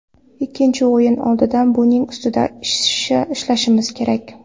Ikkinchi o‘yin oldidan buning ustida ishlashimiz kerak.